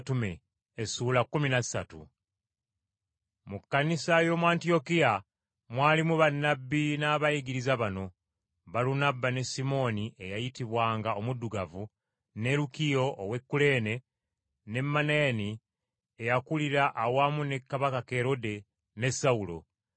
Mu Kkanisa y’omu Antiyokiya mwalimu bannabbi n’abayigiriza bano: Balunabba, ne Simooni, eyayitibwanga, “Omuddugavu” ne Lukiyo ow’e Kuleene, ne Manaeni, eyakulira awamu ne kabaka Kerode, ne Sawulo.